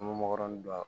An bɛ mɔgɔ ninnu dɔn